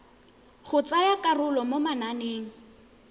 go tsaya karolo mo mananeng